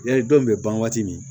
Yali dɔw bɛ ban waati min